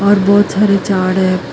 ਬਹੁਤ ਸਾਰੇ ਝਾੜ ਹੈ।